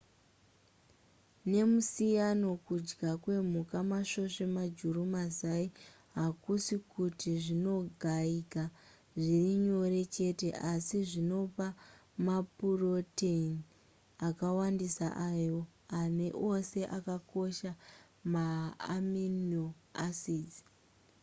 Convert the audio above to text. nemusiyano kudya kwemhuka masvosve majuru mazai hakusi kuti zvinogayika zvirinyore chete asi zvinopa mapuroteni akawandisa ayo ane ose akakosha ma amino acids